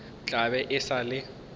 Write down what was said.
tla be e sa le